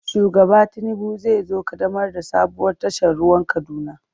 Shugaba Tinubu zai zo ƙaddamar da sabuwar tashar ruwan Kaduna.